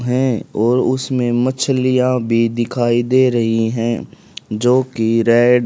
है और उसमें मछलियां भी दिखाई दे रही है जोकि रेड --